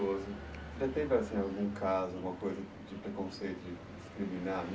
Você já teve assim algum caso, alguma coisa de preconceito, de discriminar